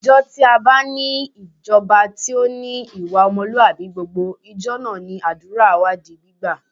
Ìjọ tí a bá ní ìjọba tí ó ní ìwà ọmọlúwàbí gbogbo, ìjọ náà ni àdúrà wa di gbígbà